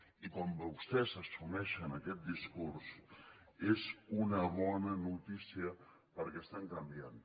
i quan vostès assumeixen aquest discurs és una bona notícia perquè estan canviant